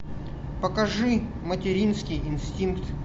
покажи материнский инстинкт